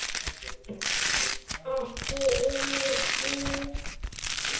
Ekki einu sinni ég!